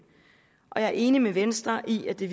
og jeg er enig med venstre i at det